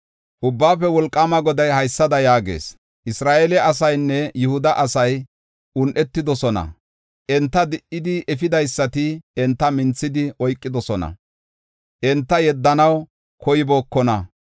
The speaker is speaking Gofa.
Ubbaafe Wolqaama Goday haysada yaagees: “Isra7eele asaynne Yihuda asay un7etidosona. Enta di77idi efidaysati enta minthidi oykidosona; enta yeddenaw koybookona.